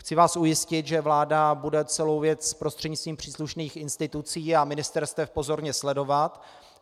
Chci vás ujistit, že vláda bude celou věc prostřednictvím příslušných institucí a ministerstev pozorně sledovat.